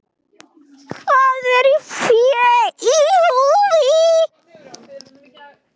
Hvað er fé í húfi?